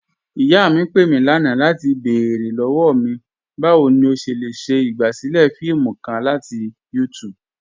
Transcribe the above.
Iyà mí pé mí lánà latí bẹ̀ẹ̀rẹ̀ lọ́wọ́ mí, báwo ni o ṣé le ṣe igbásílẹ̀ fíìmù kàn latí YouTube.